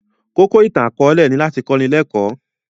Kókó ìtàn akọ̀ọ̀lẹ ni láti kọ́ni lẹ́kọ̀